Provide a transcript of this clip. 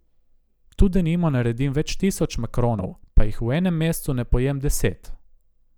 Tu denimo naredim več tisoč makronov, pa jih v enem mesecu ne pojem deset.